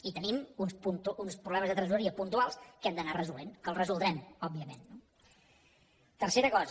i tenim uns problemes de tresoreria puntuals que hem d’anar resolent que els resoldrem òbviament no tercera cosa